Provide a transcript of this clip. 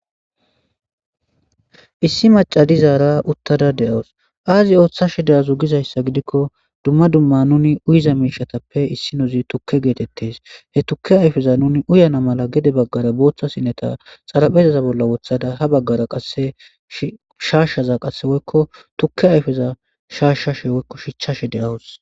Issi macadizaara uttada de7awus aazi ooththashe deyazu gizayssa gidikko dumma dumma nuni uyiza miishatappe issi nozi tukke geetettes he tukke ayfeza nuni uyana mala gede baggara booththa sineta xaraphezaza bolla wothada ha baggara qashaashshaza qasse woykko tukke ayfeza shaashshashe woykko shichchashe de7awus